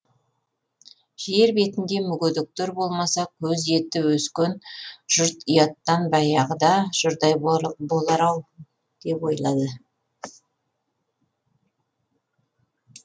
жер бетінде мүгедектер болмаса көз еті өскен жұрт ұяттан баяғыда жұрдай болар ау деп ойлады